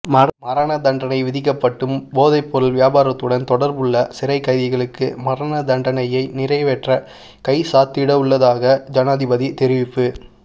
மரணதண்டனை விதிக்கப்பட்டும் போதைப்பொருள் வியாபாரத்துடன் தொடர்புபட்டுள்ள சிறைக் கைதிகளுக்கு மரணதண்டனையை நிறைவேற்ற கைச்சாத்திடவுள்ளதாக ஜனாதிபதி தெரிவிப்பு